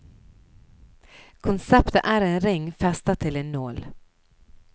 Konseptet er en ring festa til en nål.